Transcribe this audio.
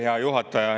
Hea juhataja!